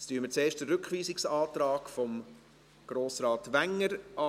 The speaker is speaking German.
Zuerst hören wir uns die Begründung des Rückweisungsantrags von Grossrat Wenger an.